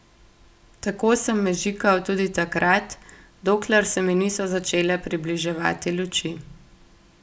Tako sem mežikal tudi takrat, dokler se mi niso začele približevati luči.